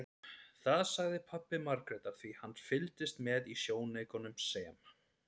Það sagði pabbi Margrétar því hann fylgdist með í sjónaukanum sem